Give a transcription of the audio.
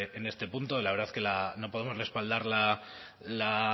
en este punto y la verdad que no podemos respaldar la